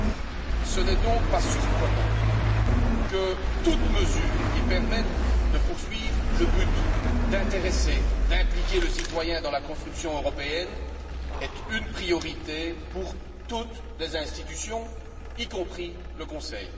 Il n'est donc pas surprenant que toute mesure qui permette de poursuivre le but d'intéresser, d'impliquer le citoyen dans la construction européenne constitue une priorité pour toutes les institutions y compris le Conseil.